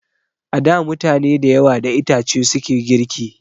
A da mutane da yawa da itace suke girki